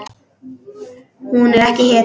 Hún er ekki hetja.